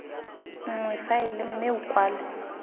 nngwe faele mme o kwale